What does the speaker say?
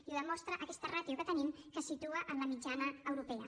i ho demostra aquesta ràtio que tenim que es situa en la mitjana europea